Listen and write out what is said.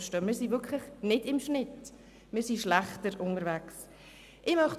Wir liegen jedoch nicht im Schnitt, sondern schneiden unterdurchschnittlich ab.